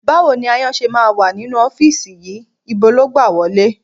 Báwo ni aáyán ṣe máa wà nínú ọ́fíìsì yìí? Ibo ló gbà wọlé?